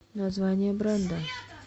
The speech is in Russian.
название бренда